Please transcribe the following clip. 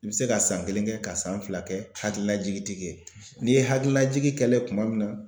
I bɛ se ka san kelen kɛ ka san fila kɛ hakililajigin tɛ kɛ n'i ye hakililajigin kɛlen ye tuma min na